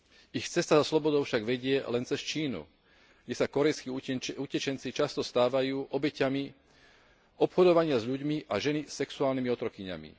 Ich cesta za slobodou však vedie len cez Čínu, kde sa kórejskí utečenci často stávajú obeťami obchodovania s ľuďmi a ženy sexuálnymi otrokyňami.